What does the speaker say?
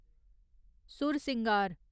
Sursingar